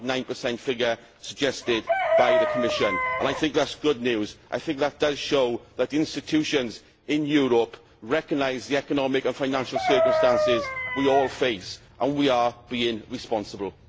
1.9 figure suggested by the Commission and I think that that is good news and I think that it does show that institutions in Europe recognise the economic and financial circumstances we all face and that we are being responsible.